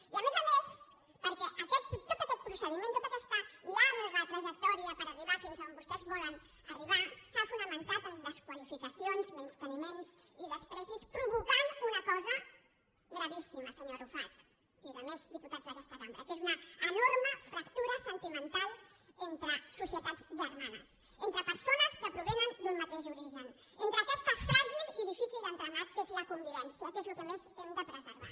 i a més a més perquè tot aquest procediment tota aquesta llarga tra·jectòria per arribar fins on vostès volen arribar s’ha fonamentat en desqualificacions menysteniments i menyspreus fet que ha provocat una cosa gravíssima senyor arrufat i resta de diputats d’aquesta cambra que és una enorme fractura sentimental entre socie·tats germanes entre persones que provenen d’un ma·teix origen en aquest fràgil i difícil entramat que és la convivència que és el que més hem de preservar